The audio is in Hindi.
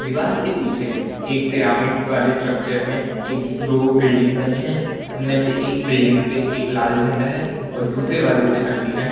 दीवाल के पीछे एक पिरामिड वाले स्ट्रक्चर में एक दो बिल्डिंग बनी है उनमें से एक बिल्डिंग पे एक लाल झंडा है और दूसरे वाले पे एंटीना है।